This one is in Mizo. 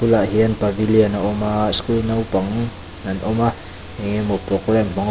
bulah hian pavelian a awm a school naupang te an awm a eng emaw programme --